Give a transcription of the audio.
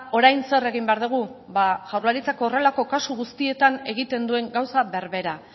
orain zer egin behar dugu ba jaurlaritzak horrelako kasu guztietan egiten duen gauza berbera